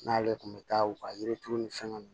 N'ale tun bɛ taa u ka yiri turu ni fɛn nunnu